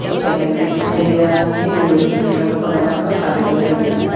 एक channel gate दिखाई दे रहा है जो लोहे किंग आलो का बना हुआ है और काले कलर का दिख रहा है।